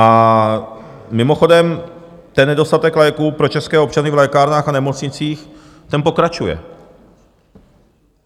A mimochodem, ten nedostatek léků pro české občany v lékárnách a nemocnicích, ten pokračuje.